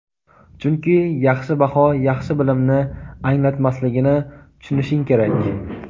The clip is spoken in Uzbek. chunki yaxshi baho yaxshi bilimni anglatmasligini tushunishing kerak.